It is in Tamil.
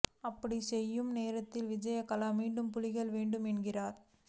அப்படி செய்யும் நேரத்தில் விஜயகலா மீண்டும் புலிகள் வேண்டும் என்கிறார்